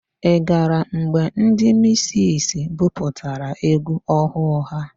Ị gara mgbe ndị misisi buputara égwú ọhụụ ha?